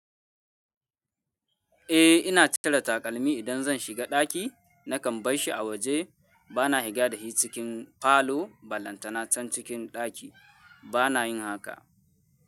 Eh ina cire takalmi idan zan shiga ɗaki nakan bar shi a waje bana higa da shi cikin falo ba lantana can cikin ɗaki bana yin haka.